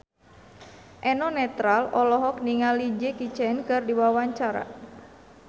Eno Netral olohok ningali Jackie Chan keur diwawancara